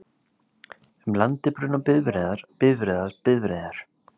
Um landið bruna bifreiðar, bifreiðar, bifreiðar,